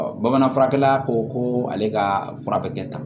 bamanan furakɛla ko ko ale ka fura bɛ kɛ tan